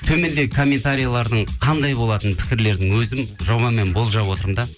төмендегі комментариялардың қандай болатынын пікірлердің өзім жобамен болжап отырмын да